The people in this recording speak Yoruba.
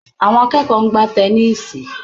Àwọn akẹ́kọ̀ọ́ ń gbá tẹníìsì